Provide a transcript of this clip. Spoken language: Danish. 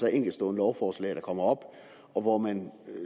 er enkeltstående lovforslag der kommer op og hvor man